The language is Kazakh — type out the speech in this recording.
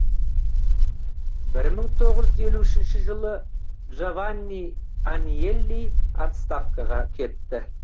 бір мың тоғыз жүз елу үшінші жылы джованни аньелли отставкаға кетті